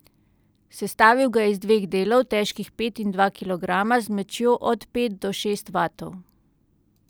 Sestavil ga je iz dveh delov, težkih pet in dva kilograma, z močjo od pet do šest vatov.